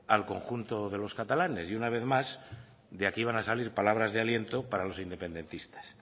al conjunto de los catalanes y una vez más de aquí van a salir palabras de aliento para los independentistas